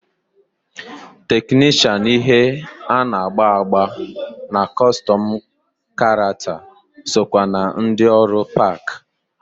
Teknishan ihe ana-agba agba na kọstum karakta sokwa na ndi ọrụ park.